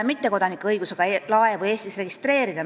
Mittekodanike õigusest Eestis laevu registreerida.